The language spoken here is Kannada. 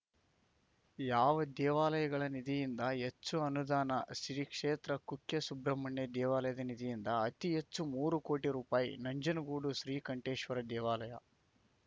ಯಾವ ದೇವಾಲಯಗಳ ನಿಧಿಯಿಂದ ಹೆಚ್ಚು ಅನುದಾನ ಶ್ರೀ ಕ್ಷೇತ್ರ ಕುಕ್ಕೆಸುಬ್ರಹ್ಮಣ್ಯ ದೇವಾಲಯದ ನಿಧಿಯಿಂದ ಅತಿ ಹೆಚ್ಚು ಮೂರು ಕೋಟಿ ರೂಪಾಯಿ ನಂಜನಗೂಡು ಶ್ರೀಕಂಠೇಶ್ವರ ದೇವಾಲಯ